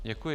Děkuji.